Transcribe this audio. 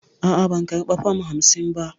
A'a, ban karba fam hamsin ba.